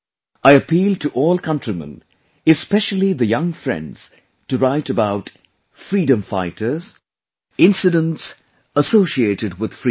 I appeal to all countrymen, especially the young friends to write about freedom fighters, incidents associated with freedom